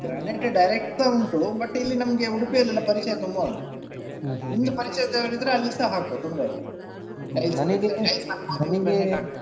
Granite direct ಸ ಉಂಟು but ಇಲ್ಲಿ ನಮಗೆ ಉಡುಪಿಯಲ್ಲಿ ಎಲ್ಲ ಪರಿಚಯ ತುಂಬ ಉಂಟು ನಿಮ್ಮದು ಪರಿಚಯ ಇದ್ದವ್ರು ಇದ್ರೆ ಅಲ್ಲಿಸಾ ಹಾಕುವ ತೊಂದ್ರೆ ಇಲ್ಲ tiles ಬೇಕಿದ್ರೆ tiles ಹಾಕಬಹುದು .